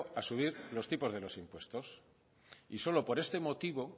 a subir los tipos de los impuestos y solo por este motivo